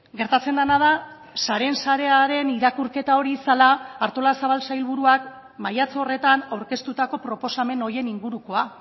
gertatzen dena da sareen sarearen irakurketa hori zela artolazabal sailburuak maiatza horretan aurkeztutako proposamen horien ingurukoa